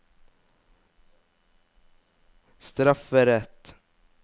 strafferett